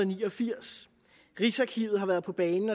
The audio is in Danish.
ni og firs rigsarkivet har været på banen